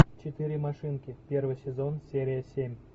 четыре машинки первый сезон серия семь